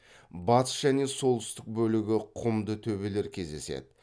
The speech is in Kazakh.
батыс және солтүстік бөлігі құмды төбелер кездеседі